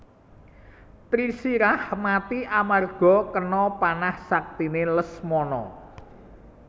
Trisirah mati amarga kena panah saktiné Lesmana